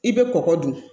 I bɛ kɔkɔ dun